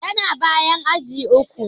Yana bayan aji uku.